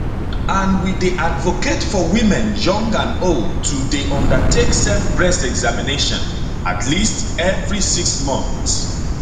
and we dey advocate for women young and old to dey undertake self breast examination at least every six months